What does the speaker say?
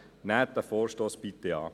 Nehmen Sie den Vorstoss bitte an.